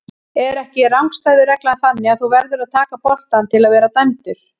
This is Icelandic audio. Er ekki rangstæðu reglan þannig að þú verður að taka boltann til að vera dæmdur?